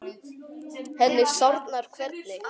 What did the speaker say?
Henni sárnar hvernig